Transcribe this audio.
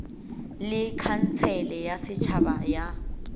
le khansele ya setšhaba ya